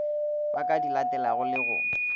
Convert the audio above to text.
ba ka dilatelago le go